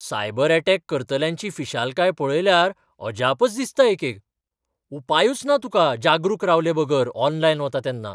Cyber attack करतल्यांची फिशालकाय पळयल्यार अजापच दिसता एकेक. उपायूच ना तुका जागरूक रावलेबगर ऑनलायन वता तेन्ना.